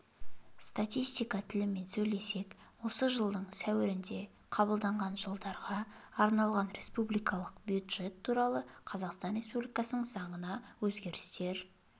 статистика тілімен сөйлесек осы жылдың сәуірінде қабылданған жылдарға арналған республикалық бюджет туралы қазақстан республикасының заңына өзгерістер